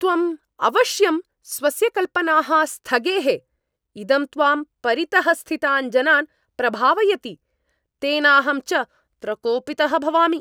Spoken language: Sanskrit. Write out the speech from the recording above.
त्वम् अवश्यं स्वस्य कल्पनाः स्थगेः। इदं त्वां परितः स्थितान् जनान् प्रभावयति, तेनाहं च प्रकोपितः भवामि।